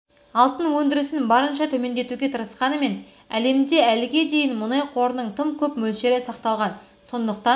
алтын өндірісін барынша төмендетуге тырысқанымен әлемде әліге дейін мұнай қорының тым көп мөлшері сақталған сондықтан